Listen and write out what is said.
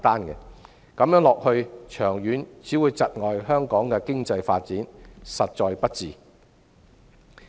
長遠而言，這樣只會窒礙香港的經濟發展，實在不智。